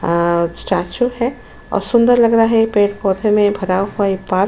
statue है और सुंदर लग रहा है पेड़ पौधे मे भरा हुआ ये पार्क --